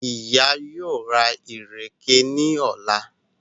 Ìyá yóò rà ìrèké ní ọ̀la